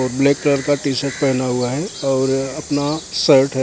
black colour का T-shirt पहना हुआ हैं और अपना शर्ट --